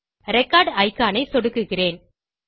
record icon ஐ சொடுக்குகிறேன்